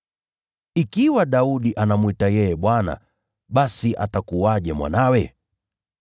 Ikiwa Daudi anamwita yeye ‘Bwana,’ basi atakuwaje mwanawe?”